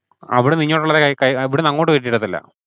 അവിടുന്ന് ഇഞ്ഞോട്ട് ഉള്ളതേ, ഇവിടുന്നു അങ്ങോട്ട് കയറ്റി വിടത്തില്ല.